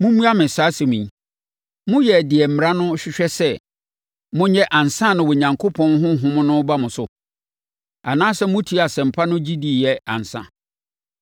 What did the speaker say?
Mommua me saa asɛm yi: Moyɛɛ deɛ Mmara no hwehwɛ sɛ monyɛ ansa na Onyankopɔn Honhom no reba mo so? Anaasɛ motiee Asɛmpa no gye diiɛ ansa?